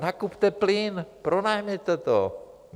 Nakupte plyn, pronajměte to.